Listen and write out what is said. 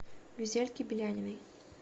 гюзельке беляниной